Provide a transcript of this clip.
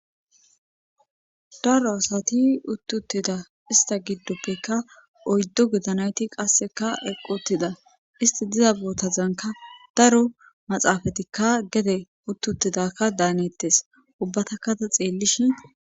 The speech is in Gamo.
daro asati uti utida ista giddoppekka oyddu gida nayti qasseka eqi utida isti diza bootazanka daro maxaafatikka gede uti utidakka daanettes ubbatakkata xeellishin